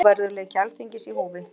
Trúverðugleiki Alþingis í húfi